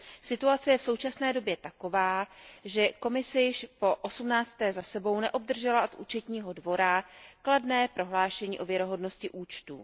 Situace je v současné době taková, že Komise již po osmnácté za sebou neobdržela od Účetního dvora kladné prohlášení o věrohodnosti účtů.